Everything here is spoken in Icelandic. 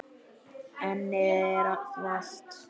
Ennið er þvalt.